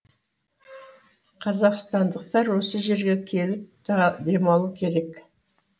қазақстандықтар осы жерге келіп демалу керек